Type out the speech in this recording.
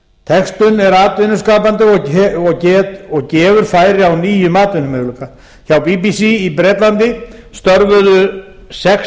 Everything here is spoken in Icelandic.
textun er atvinnuskapandi og gefur færi á nýjum atvinnumöguleika hjá bbc í bretlandi störfuðu sex